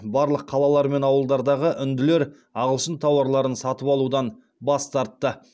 барлық қалалар мен ауылдардағы үнділер ағылшын тауарларын сатып алудан бас тартты